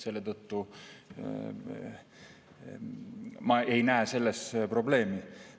Selle tõttu ma ei näe selles probleemi.